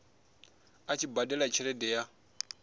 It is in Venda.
a tshi badela tshelede ya